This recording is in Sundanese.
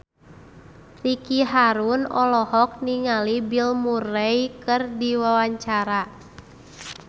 Ricky Harun olohok ningali Bill Murray keur diwawancara